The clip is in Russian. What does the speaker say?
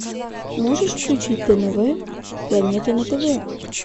можешь включить тнв планета на тв